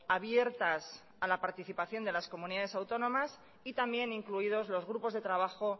abiertas a la participación de las comunidades autónomas y también incluidos los grupos de trabajo